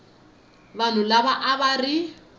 vanhu lava a va ri